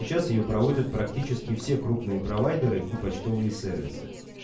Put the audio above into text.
сейчас её проводят практически все крупные провайдеры и почтовые сервисы